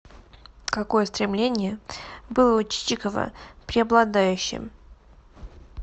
какое стремление было у чичикова преобладающим